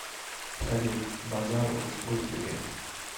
салют базарову сколько лет